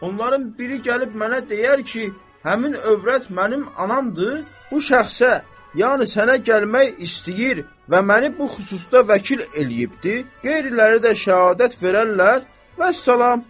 Onların biri gəlib mənə deyər ki, həmin övrət mənim anamdır, bu şəxsə, yəni sənə gəlmək istəyir və məni bu xüsusda vəkil eləyibdir, qeyriləri də şəhadət verərlər, vəssalam.